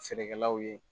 Feerekɛlaw ye